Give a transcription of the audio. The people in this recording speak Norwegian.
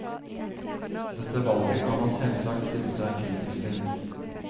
Dette valget kan man selvsagt stille seg kritisk til.